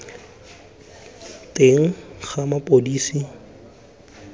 teng ga mapodisi kwa pele